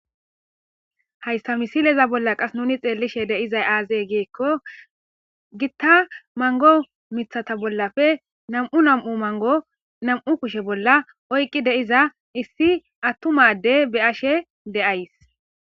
Haysa misileza bollan qase nun xelishe diza aze giko gita mango mithata bollappe nam'u nam'u mango nam'u kushe bolla oyki de'eiza issi atuma ade be'ashe de'ys